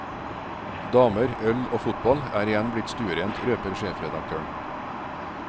Damer, øl og fotball er igjen blitt stuerent, røper sjefredaktøren.